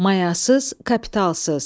Mayasız, kapitlasız.